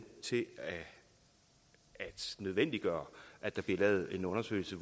til at nødvendiggøre at der bliver lavet en undersøgelse